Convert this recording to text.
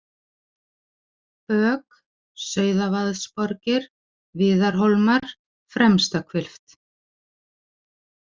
Bök, Sauðavaðsborgir, Viðarhólmar, Fremstahvilft